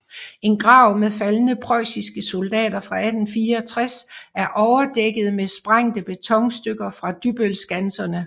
En grav med faldne preussiske soldater fra 1864 er overdækket med sprængte betonstykker fra Dybbølskanserne